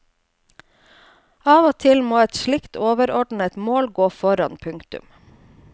Av og til må et slikt overordnet mål gå foran. punktum